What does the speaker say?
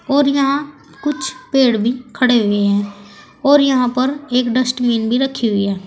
और यहां कुछ पेड़ भी खड़े हुए हैं और पर एक डस्टबिन भी रखी हुई हैं।